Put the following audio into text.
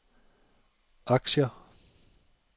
aktier